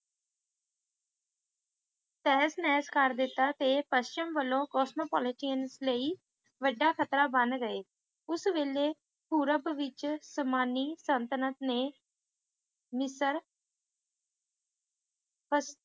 ਤਹਿਸ ਨਹਿਸ ਕਰ ਦਿੱਤਾ ਤੇ ਪਸ਼ਚਿਮ ਵੱਲੋਂ ਕੋਸਮੋਪੋਲਾਟੀਅਨ ਲਈ ਵੱਢਾ ਖਤਰਾ ਬਣ ਗਏ ਉਸ ਵੇਲੇ ਪੂਰਵ ਵਿੱਚ ਉਸਮਾਨੀ ਸਲਤਨਤ ਨੇ ਮਿਸਰ ਤੱਕ